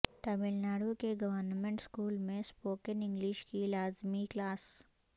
ٹاملناڈو کے government school میں spoken English کی لازمی کلاس